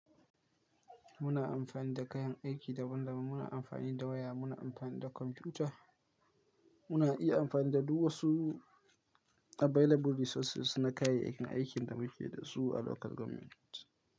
Muna amfani da kayan aiki daban-daban, muna amfani da waya, muna amfani da kwamfuta, muna iya amfani da duk wasu available resources na kayayyakin aikin da muke da su a local government.